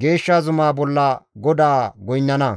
geeshsha zumaa bolla GODAAS goynnana.